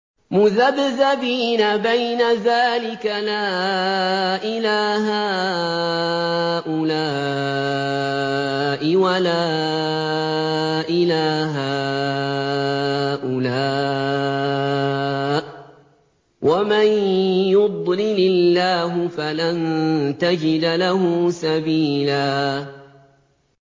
مُّذَبْذَبِينَ بَيْنَ ذَٰلِكَ لَا إِلَىٰ هَٰؤُلَاءِ وَلَا إِلَىٰ هَٰؤُلَاءِ ۚ وَمَن يُضْلِلِ اللَّهُ فَلَن تَجِدَ لَهُ سَبِيلًا